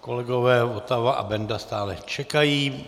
Kolegové Votava a Benda stále čekají.